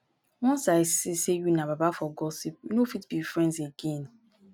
once i see sey you na baba for gossip we no fit be friends again.